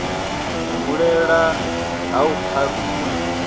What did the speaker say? u hulela ha u pharuwa